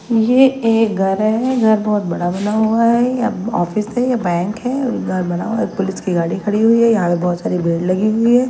यह एक घर है घर बहुत बड़ा बना हुआ है यह ऑफिस है यह बैंक है घर बना हुआ है पुलिस की गाड़ी खड़ी हुई है यहां पे बहुत सारी भेड़ लगी हुई है।